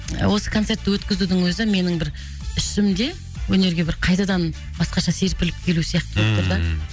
осы концертті өткізудің өзі менің бір ішімде өнерге бір қайтадан басқаша серпіліп келу сияқты болып тұр да ммм